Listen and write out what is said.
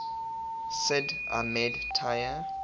sid ahmed taya